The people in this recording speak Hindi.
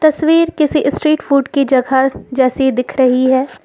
तस्वीर किसी स्ट्रीट फूड की जगह जैसी दिख रही है।